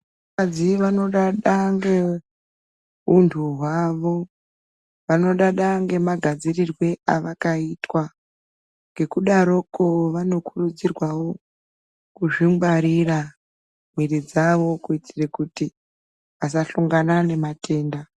Vakadzi vanodada ngeuntu hwavo vanodada ngemagadzirirwe avakaitwa ngekudaroko vanokurudzirwawo kudzingwarira mwiri dzavo kuitire kuti vasahlongane nematenda.